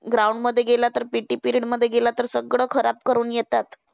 Ground मध्ये गेला PT period मध्ये गेला तर सगळं खराब करून येतात.